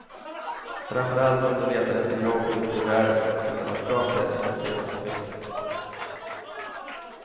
Framför allt om du letar efter jobb ute i världen kan det vara ett bra sätt att se vad som finns.